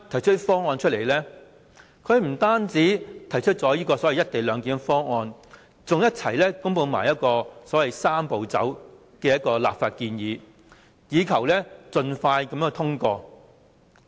政府不單提出這個所謂"一地兩檢"方案，更同時公布所謂"三步走"的立法建議，以求盡快通過。